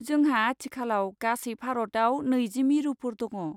जोंहा आथिखालाव गासै भारतआव नैजि मिरुफोर दङ।